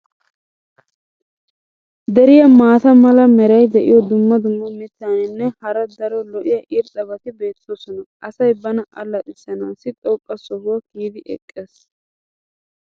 Deriyan maata mala meray diyo dumma dumma mitatinne hara daro lo'iya irxxabati beetoosona. asay bana allaxisanaassi xoqqa sohuwa kiyidi eqqees.